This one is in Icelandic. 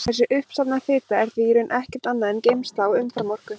Þessi uppsafnaða fita er því í raun ekkert annað en geymsla á umframorku.